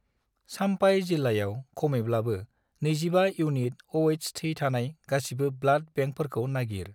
चाम्पाइ जिल्लायाव खमैब्लाबो 25 unit Oh- थै थानाय गासिबो ब्लाड बेंकफोरखौ नागिर।